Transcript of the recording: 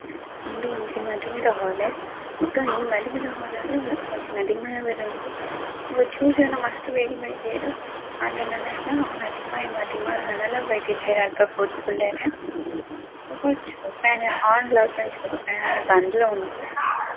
ಇಂದು ಒಂಜಿ ಮದಿಮೆದ ಹಾಲ್ ಬೊಕ್ಕ ಈ ಮದಿಮೆದ ಹಾಲ್ ಡ್ ಮದಿಮೆ ಆವೆರೆ ಉಂಡು ಏತೋ ಜನ ಮಸ್ತ್ ಬೇಗ ಬೈದೆರ್ ಆಂಡ ನನಲಾ ಮದಿಮಯ ಮದಿಮಲ್ ನನಲ ಬೈದಿಜೆರ್ ಅಲ್ಪ ಪೋದು ಕುಲ್ಲೆರೆ ಬೊಕ ಒಂಚೂರು ಲಾ ಉಂಡು.